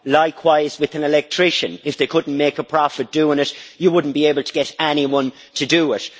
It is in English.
Likewise with an electrician, if they couldn't make a profit doing it, you wouldn't be able to get anyone to do it.